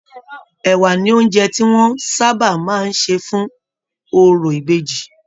Ẹwà ní oúnjẹ tí wọn sábà máa n ṣe fún òrò ìbejì.